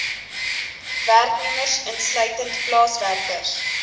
werknemers insluitend plaaswerkers